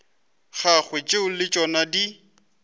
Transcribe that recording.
gagwe tšeo le tšona di